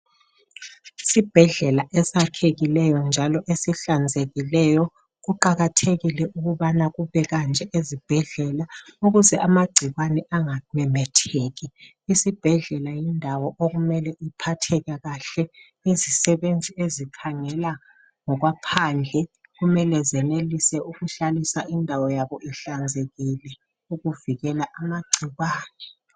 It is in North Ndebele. Isibhedlela esakhekileyo njalo esihlanzekileyo. Kuqakathekile ukuthi ukubekanje ezibhedlela ukuze amagcikwane angamemetheki. Isibhedlela yindawo okumele iphatheke kahle. Izisebenzi ezikhangela ngokwaphandle kumele zenelise ukuhlalisa indawo yabo ihlanzekile ukuvikela amagcikwane.